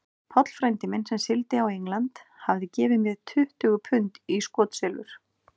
Páll frændi minn, sem sigldi á England, hafði gefið mér tuttugu pund í skotsilfur.